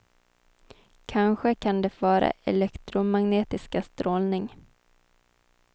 Kanske kan det vara elektromagnetisk strålning.